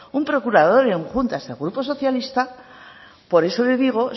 un procurador en juntas del grupo socialista por eso le digo